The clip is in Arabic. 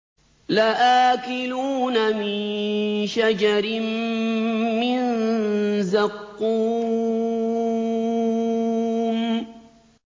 لَآكِلُونَ مِن شَجَرٍ مِّن زَقُّومٍ